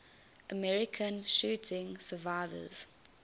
american shooting survivors